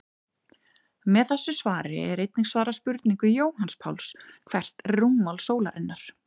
Með þessu svari er einnig svarað spurningu Jóhanns Páls: Hvert er rúmmál sólarinnar?